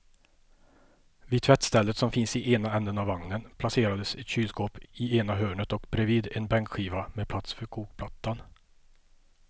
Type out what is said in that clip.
Vid tvättstället som finns i ena ändan av vagnen placerades ett kylskåp i ena hörnet och bredvid en bänkskiva med plats för kokplattan.